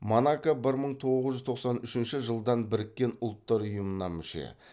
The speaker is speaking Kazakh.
монако бір мың тоғыз жүз тоқсан үшінші жылдан біріккен ұлттар ұйымына мүше